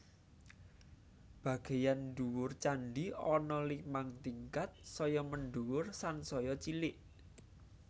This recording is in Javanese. Bagéyan ndhuwur candhi ana limang tingkat saya mendhuwur sansaya cilik